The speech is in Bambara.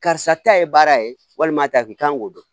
Karisa ta ye baara ye walima ta k'i kan k'o dɔn